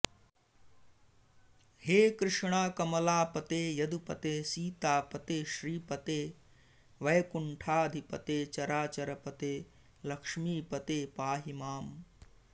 हे कृष्ण कमलापते यदुपते सीतापते श्रीपते वैकुण्ठाधिपते चराचरपते लक्ष्मीपते पाहि माम्